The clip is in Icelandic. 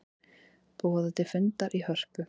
Boða til fundar í Hörpu